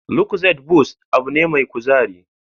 Lucozade boost abin ne mai kuzari